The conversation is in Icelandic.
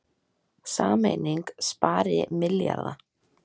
Sameining spari milljarða